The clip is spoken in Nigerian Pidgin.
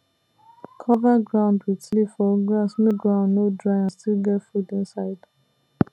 cover ground with leaf or grass make ground no dry and still get food inside